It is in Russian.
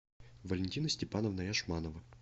валентина степановна яшманова